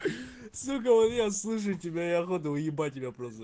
сука вот я слышу тебя и охота уебать тебя просто